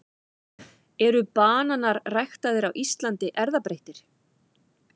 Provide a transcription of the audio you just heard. eru bananar ræktaðir á íslandi erfðabreyttir